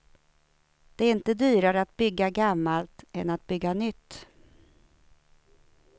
Det är inte dyrare att bygga gammalt än att bygga nytt.